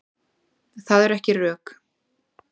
Það eru ekki rök.